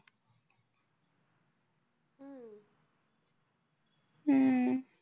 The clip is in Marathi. हम्म